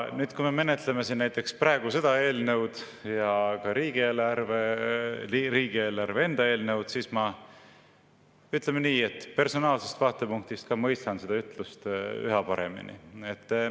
Nüüd, kui me menetleme siin näiteks seda eelnõu ja ka riigieelarve enda eelnõu, siis ma, ütleme nii, personaalsest vaatepunktist mõistan seda ütlust üha paremini.